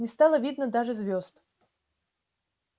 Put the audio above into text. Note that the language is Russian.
не стало видно даже звёзд